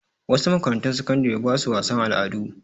Wasu makarantun sakandare ba su wasan al'adu.